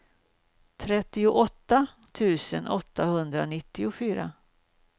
trettioåtta tusen åttahundranittiofyra